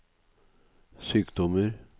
sykdommer